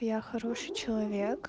я хороший человек